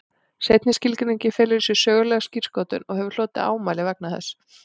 Seinni skilgreiningin felur í sér sögulega skírskotun og hefur hlotið ámæli vegna þess.